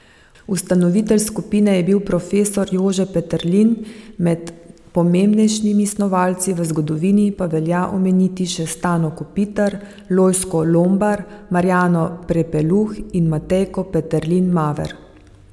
Ustanovitelj skupine je bil profesor Jože Peterlin, med pomembnejšimi snovalci v zgodovini pa velja omeniti še Stano Kopitar, Lojzko Lombar, Marjano Prepeluh in Matejko Peterlin Maver.